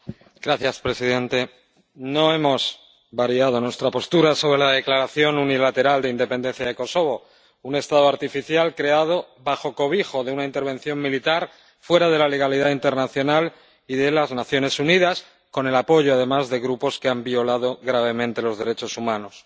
Señor presidente. No hemos variado nuestra postura sobre la declaración unilateral de independencia de Kosovo, un Estado artificial creado bajo cobijo de una intervención militar, fuera de la legalidad internacional y de las Naciones Unidas, con el apoyo, además, de grupos que han violado gravemente los derechos humanos.